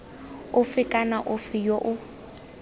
ofe kana ofe yo o